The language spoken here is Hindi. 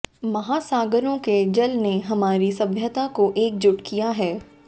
महासागरों के जल ने हमारी सभ्यता को एकजुट किया है